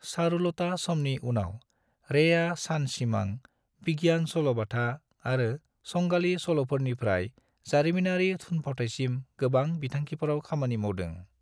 चारुलता समनि उनाव, रेआ सानसिमां, बिगियान सल'बाथा, आरो संगालि सल'फोरनिफ्राय जारिमिनारि थुनफावथाइसिम गोबां बिथांखिफोराव खामानि मावदों।